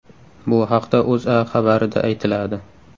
Bu haqda O‘zA xabarida aytiladi .